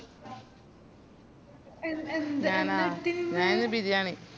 ഞാനാ ഞാൻ ഇന്ന് ബിരിയാണി